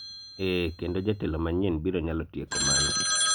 eeh, kendo jatelo manyien biro nyalo tieko mano